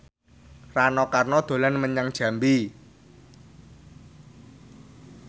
Rano Karno dolan menyang Jambi